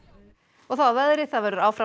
og þá að veðri það verður áfram